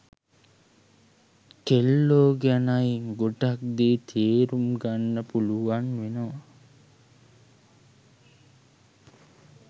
කෙල්ලෝ ගැනයි ගොඩක් දේ තේරුම් ගන්න පුළුවන් වෙනවා.